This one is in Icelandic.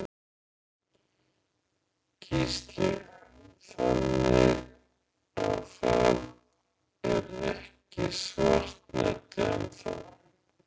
Gísli: Þannig að það er ekki svartnætti enn þá?